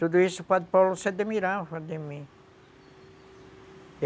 Tudo isso o padre Paulo se admirava de mim.